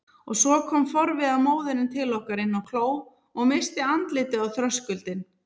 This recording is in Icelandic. Og svo kom forviða móðirin til okkar inn á kló og missti andlitið á þröskuldinum.